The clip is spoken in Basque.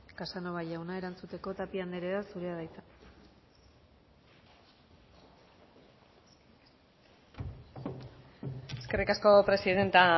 casanova jauna erantzuteko tapia andrea zurea da hitza eskerrik asko presidente